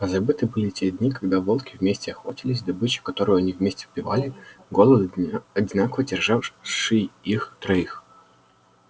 позабыты были те дни когда волки вместе охотились добыча которую они вместе убивали голод одинаково терзавший их троих